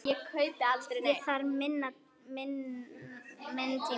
Ég þarf minn tíma.